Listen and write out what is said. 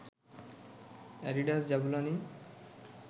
Adidas Jabulani